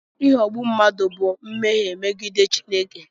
Ịghọgbu mmadụ bụ mmehie megide Chineke.